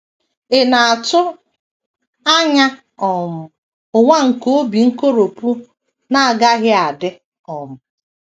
Ị̀ na - atụ anya um ụwa nke obi nkoropụ na - agaghị adị um?